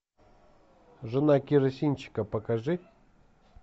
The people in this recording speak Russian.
жена керосинщика покажи